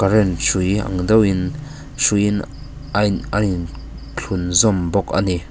hrui ang deuhin hruiin a in thlun zawm bawk a ni.